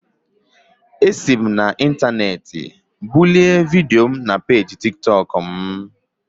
Esi m n'intaneeti bulie vidio m na peeji Tik tọk m